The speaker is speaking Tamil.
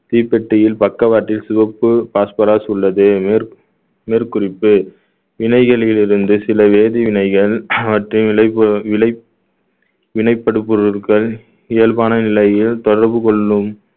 தீப்பெட்டியில் பக்கவாட்டில் சிவப்பு phosphorus உள்ளது மேற்~ மேற்குறிப்பு வினைகளிலிருந்து சில வேதிவினைகள் அவற்றின் விலைப்பொ~ விலைப்~ வினைப்படுபொருள்கள் இயல்பான நிலையில் தொடர்பு கொள்ளும்